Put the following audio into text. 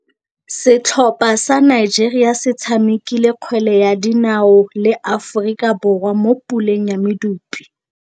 Setlhopha sa Nigeria se tshamekile kgwele ya dinaô le Aforika Borwa mo puleng ya medupe.